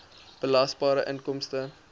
belasbare inkomste